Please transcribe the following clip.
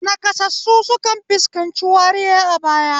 Naƙasassu sukan fuskanci wariya a baya.